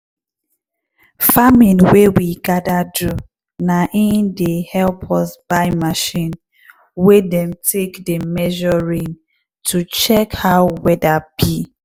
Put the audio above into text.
farming wey we gather do na in help us buy machine wey dem take dey measure rain to check how weather be.